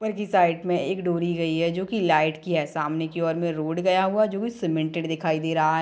ऊपर की साइड में एक डोरी गयी है जो की लाइट की है सामने की ओर में रोड गया हुआ है जो की सीमेंटेड दिखाई दे रहा है।